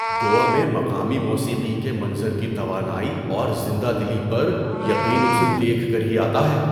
گوا میں مقامی موسیقی کے منظر کی توانائی اور زندہ دلی پر یقین اسے دیکھ کر ہی آتا ہے۔